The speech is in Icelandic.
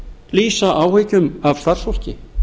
lýsa áhyggjum af starfsfólki